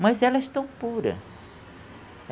Mas elas estão pura.